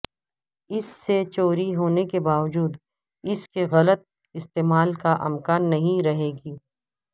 اس سے چوری ہونے کے باوجود اس کے غلط استعمال کا امکان نہیں رہے گی